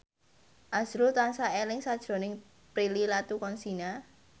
azrul tansah eling sakjroning Prilly Latuconsina